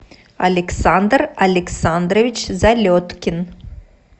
александр александрович залеткин